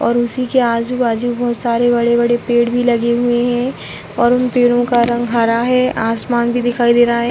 और उसी के आजू-बाजू बोहोत सारे बड़े-बड़े पेड़ भी लगे हुए हैं और उन पेड़ो का रंग हरा है। आसमान भी दिखाई दे रहा है।